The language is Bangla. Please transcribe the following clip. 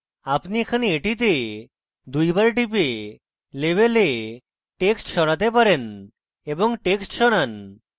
আপনি এখানে এটিতে দুইবার টিপে label text সরাতে পারেন এবং text সরান